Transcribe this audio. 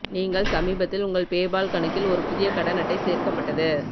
நீங்கள் சமீபத்தில் உங்கள் பேபால் கணக்கில் ஒரு புதிய கடன் அட்டை சேர்க்கப்பட்டது